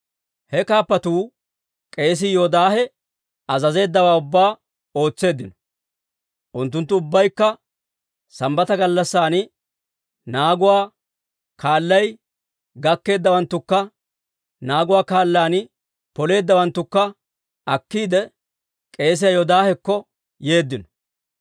He kaappatuu k'eesii Yoodaahe azazeeddawaa ubbaa ootseeddino. Unttunttu ubbaykka Sambbata gallassan naaguwaa kaalay gakkeeddawanttakka naaguwaa kaalan poleeddawanttakka akkiide, k'eesiyaa Yoodaahekko yeeddino.